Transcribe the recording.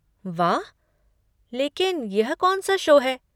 वाह! लेकिन यह कौन सा शो है?